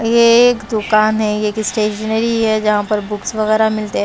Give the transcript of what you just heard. ये एक दुकान है ये एक स्टेशनरी है जहाँ पर बुक्स वगैरह मिलते हैं।